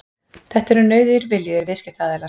Þetta eru nauðugir viljugir viðskiptaaðilar.